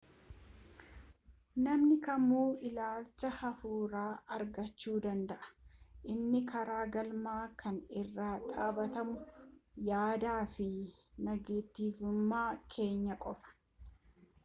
namni kamuu ilaalcha hafuuraa argachuu danda'a inni karaa galma kanaa irra dhaabbatu yaadaa fi nagatiivummaa keenya qofa